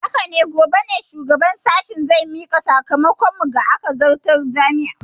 Haka ne, gobe ne shugaban sashen zai mika sakamakon mu ga majalisar zartarwar jami'ar.